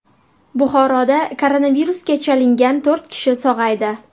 Buxoroda koronavirusga chalingan to‘rt kishi sog‘aydi.